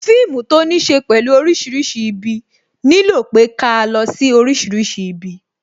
Fíìmù to ní ṣe pẹ̀lú orísìírísìí ibi, nílò pé ká lọ sí orísìírísìí ibi